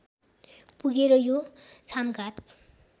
पुगेर यो छामघाट